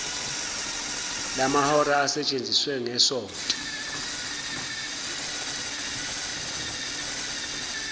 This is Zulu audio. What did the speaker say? lamahora asetshenziwe ngesonto